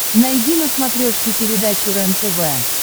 найди на смотрешке передачу рентв